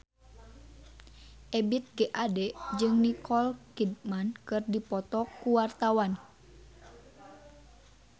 Ebith G. Ade jeung Nicole Kidman keur dipoto ku wartawan